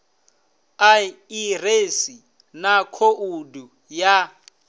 a ḓiresi na khoudu ya